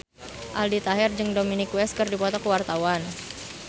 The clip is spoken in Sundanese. Aldi Taher jeung Dominic West keur dipoto ku wartawan